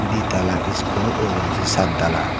di tala school ugurendi saat tala.